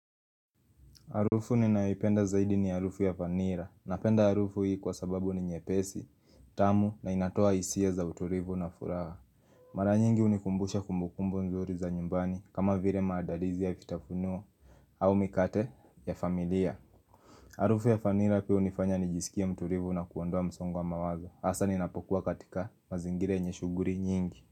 Harufu ninayoipenda zaidi ni harufu ya vanilla Napenda harufu hii kwa sababu ni nyepesi, tamu na inatoa hisia za utulivu na furaha. Mara nyingi hunikumbusha kumbukumbu nzuri za nyumbani kama vile maandalizi ya vitafunio au mikate ya familia. Harufu ya vanilla pia hunifanya nijisikie mtulivu na kuondoa msongo wa mawazo. Hasa ninapokuwa katika mazingira yenye shughuli nyingi.